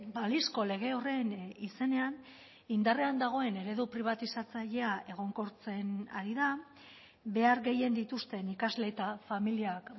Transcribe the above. balizko lege horren izenean indarrean dagoen eredu pribatizatzailea egonkortzen ari da behar gehien dituzten ikasle eta familiak